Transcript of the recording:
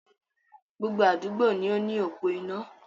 Gbogbo àdúgbò ní o ni opò iná.